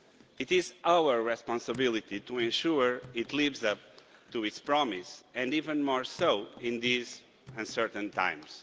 It is our responsibility to ensure that it lives up to its promise, and even more so in these uncertain times.